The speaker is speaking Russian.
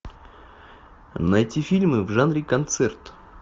найти фильмы в жанре концерт